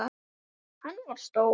Hann var stór.